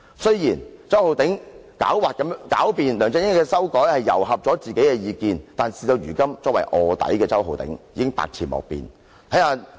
雖然周浩鼎議員狡辯指梁振英的修改糅合了自己的意見，但事到如今，作為臥底的周浩鼎議員已是百詞莫辯。